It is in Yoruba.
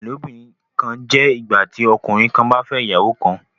ilobìrin kán jẹ ìgbàtí ọkùnrin kán bà fè ìyàwó kán.